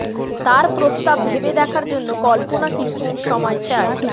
তার প্রস্তাব ভেবে দেখার জন্য কল্পনা কিছু দিন সময় চায়